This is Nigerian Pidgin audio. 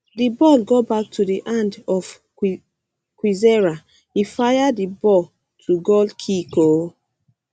di ball go back um to di hand of kwizera e fire di ball to goalkick oooo